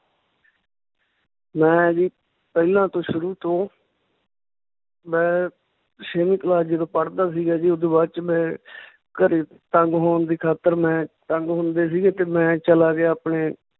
ਮੈਂ ਜੀ ਪਹਿਲਾਂ ਤੋਂ ਸ਼ੁਰੂ ਤੋਂ ਮੈਂ ਛੇਵੀਂ class ਜਦੋਂ ਪੜ੍ਹਦਾ ਸੀਗਾ ਜੀ ਓਦੂ ਬਾਅਦ ਚ ਮੈਂ ਘਰੇ ਤੰਗ ਹੋਣ ਦੀ ਖਾਤਰ ਮੈਂ ਤੰਗ ਹੁੰਦੇ ਸੀਗੇ ਤੇ ਮੈਂ ਚਲਾ ਗਿਆ ਆਪਣੇ